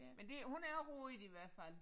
Men det hun er rodet i hvert fald